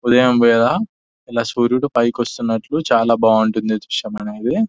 ఉదయం వేళ ఇలా సూర్యుడు పైకి వస్తున్నట్లు చాలా బాగుంటది దృశ్యం అనేది.